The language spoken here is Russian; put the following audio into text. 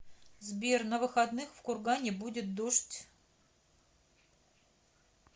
сбер на выходных в кургане будет дождь